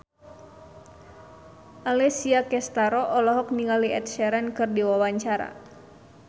Alessia Cestaro olohok ningali Ed Sheeran keur diwawancara